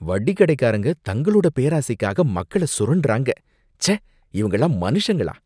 வட்டிக்கடைக்காரங்க தங்களோட பேராசைக்காக மக்கள சுரண்டுறாங்க, ச்சே இவங்களெல்லாம் மனுஷனுங்களா!